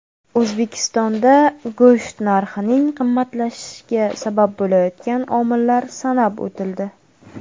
O‘zbekistonda go‘sht narxining qimmatlashishiga sabab bo‘layotgan omillar sanab o‘tildi.